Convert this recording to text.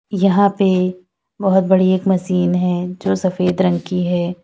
यहां पे बहोत बड़ी एक मशीन है जो सफेद रंग की है।